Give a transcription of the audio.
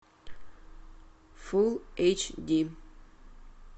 фул эйч ди